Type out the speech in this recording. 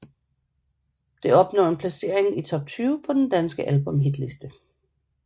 Det opnår en placering i top 20 på den danske albumhitliste